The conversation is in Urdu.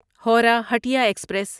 ہورہ ہٹیا ایکسپریس